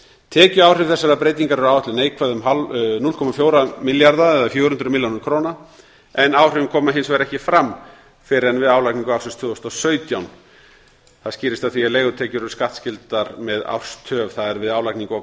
tekjuáhrif þessarar breytingar eru áætluð neikvæð um fjögur hundruð milljón krónur en áhrifin koma hins vegar ekki fram fyrr en við álagningu ársins tvö þúsund og sautján það skýrist af því að leigutekjur eru skattskyldar með árs töf það er við álagningu